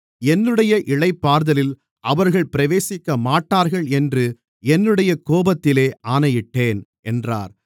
என்னுடைய இளைப்பாறுதலில் அவர்கள் பிரவேசிக்கமாட்டார்கள் என்று என்னுடைய கோபத்திலே ஆணையிட்டேன் என்றார்